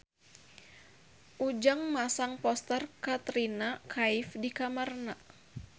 Ujang masang poster Katrina Kaif di kamarna